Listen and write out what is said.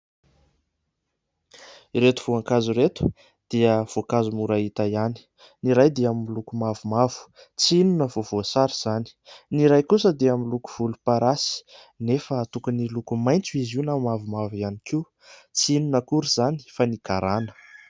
Ireto voankazo ireto dia voankazo mora hita ihany, ny iray dia miloko mavomavo tsy inona fa voasary izany, ny iray kosa dia miloko volomparasy anefa tokony hiloko maitso izy io na mavomavo ihany koa tsy inona akory izany fa ny garana.